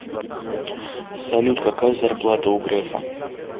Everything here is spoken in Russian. салют какая зарплата у грефа